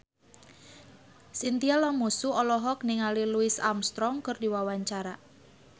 Chintya Lamusu olohok ningali Louis Armstrong keur diwawancara